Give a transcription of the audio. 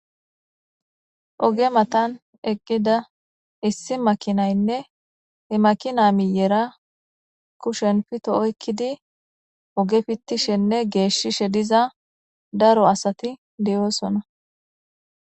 oge matan eqqida issi makinaynne he makina miyera kushen pito oykkidi oge fittishenne geeshshishe diza daro asati diyoosona